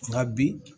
Nka bi